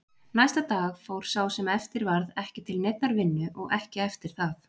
Næsta dag fór sá sem eftir varð ekki til neinnar vinnu og ekki eftir það.